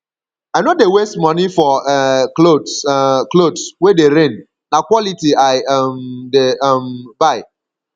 i no dey waste moni for um clothes um clothes wey dey reign na quality i um dey um buy